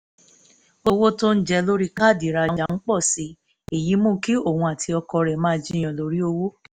owó tó ń jẹ lórí káàdì ìrajà ń pọ̀ sí i èyí mú kí òun àti ọkọ rẹ̀ máa jiyàn lórí owó